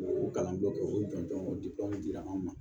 O kalan dɔ kɛ o jɔnjɔn o dila anw ma